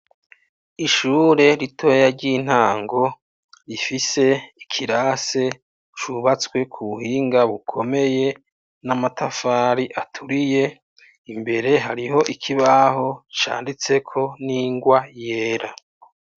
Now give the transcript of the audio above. Ishure ritoya ry'intango rifise ikirasi cubatswe k'ubuhinga bukomeye n'amatafari aturiye, imbere hariho ikibaho canditseko n'ingwa yera.